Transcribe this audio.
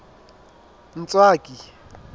ntswaki